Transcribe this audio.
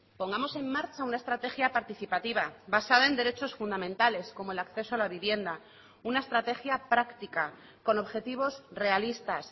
pongamos en marcha una estrategia participativa basada en derechos fundamentales como el acceso a la vivienda una estrategia práctica con objetivos realistas